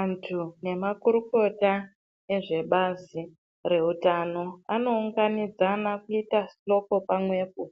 Antu nemakurukota ezvebazi reutano anounganidzana kuita hloko pamwepo